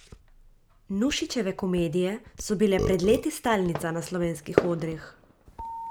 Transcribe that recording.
Nušićeve komedije so bile pred leti stalnica na slovenskih odrih.